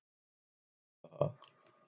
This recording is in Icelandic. Hann á að vita það.